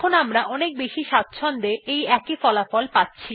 এখন আমরা অনেক বেশি স্বাচ্ছন্দ্য এর সঙ্গে একই ফলাফল পাচ্ছি